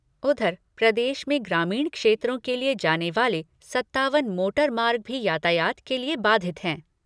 उधर, प्रदेश में ग्रामीण क्षेत्रों के लिए जाने वाले सत्तावन मोटर मार्ग भी यातायात के लिए बाधित हैं।